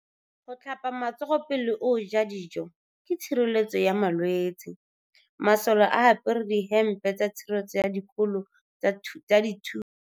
Go tlhapa matsogo pele o ja dijô ke tshireletsô ya malwetse. Masolê a apere dihêmpê tsa tshireletso ya dikolo tsa dithunya.